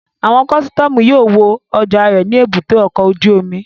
Àwọn kọ́sítọ́mù yóò wo ọjà rẹ ní èbúté ọkọ̀ ojú omi